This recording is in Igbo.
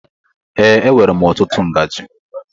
Ee, enwèrè m ọtụtụ ngaji.